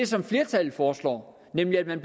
som flertallet foreslår nemlig at man